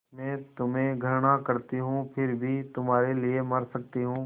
मैं तुम्हें घृणा करती हूँ फिर भी तुम्हारे लिए मर सकती हूँ